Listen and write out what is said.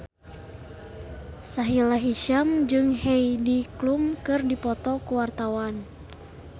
Sahila Hisyam jeung Heidi Klum keur dipoto ku wartawan